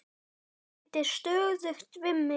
Hann reyndi stöðugt við mig.